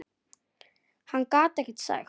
Hann gat ekkert sagt.